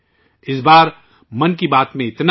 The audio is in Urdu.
اس بار ' من کی بات ' میں اتنا ہی